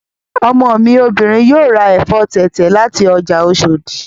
Ọmọ mi obìnrin yóò ra ẹ̀fọ́ tẹ̀tẹ̀ láti ọjà Oshòdì